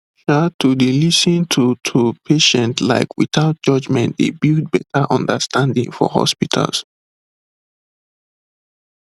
um to dey lis ten to to patients like without judgement dey build better understanding for hospitals